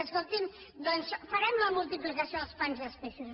escolti’m doncs farem la multiplicació dels pans i els peixos